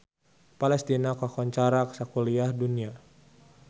Palestina kakoncara sakuliah dunya